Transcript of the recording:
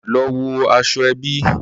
Lọ wọ aṣọ ẹbí